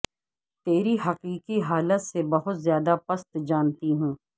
تیری حقیقی حالت سے بہت زیادہ پست جانتی ہوں